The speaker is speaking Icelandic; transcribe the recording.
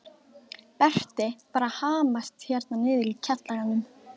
Berti var að hamast hérna niðri í kjallaranum.